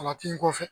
A tin kɔfɛ